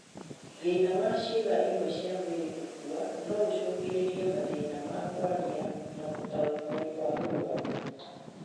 Thĩna wa ciĩga imwe cia mwĩrĩ gũkua noũcũngĩrĩrie mathĩna ma kwaria na gũtaũkĩwo kwa mũrwaru